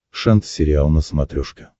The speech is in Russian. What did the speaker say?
шант сериал на смотрешке